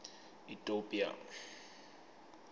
itopia